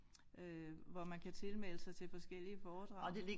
Øh hvor man kan tilmelde sig til forskellige foredrag